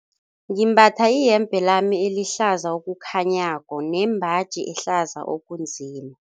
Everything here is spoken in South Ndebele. Ngimbatha iyembe lami elihlaza okukhanyako nembaji ehlaza okunzima.